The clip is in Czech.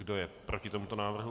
Kdo je proti tomuto návrhu?